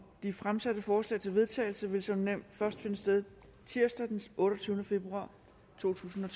de fremsatte forslag til vedtagelse vil som nævnt først finde sted tirsdag den otteogtyvende februar totusinde